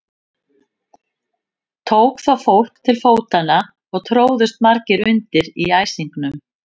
Tók þá fólk til fótanna og tróðust margir undir í æsingnum.